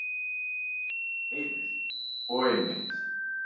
Heimir: Og einmitt.